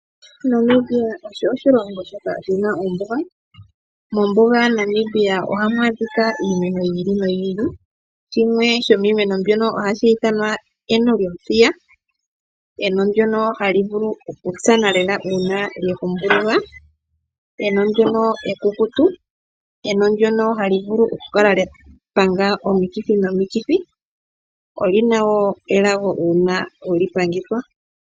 Namibia osho oshilongo shoka shina oombuga . Mombuga yaNamibia ohamu adhika iimeno yiili noyili . Shimwe shomiimeno mbyono ohashi ithanwa eno lyomuthiya . Enono ndyono hali vulu okutsana lela uuna lyekutsa. Lyo ekukutu nohali vulu okupanga omikithi nomikithi. Lyo olina wo elago uuna weli pangithwa.